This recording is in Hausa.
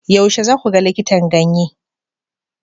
Yaushe za ku ga likitan ganye?